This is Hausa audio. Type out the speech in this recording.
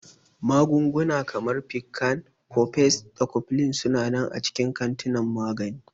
Magunguna kamar Piccan, Cofex, da Cofflin su na nan a cikin kantinan magani.